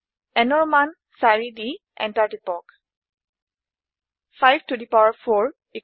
nৰ মান 4 দি এন্টাৰ টিপক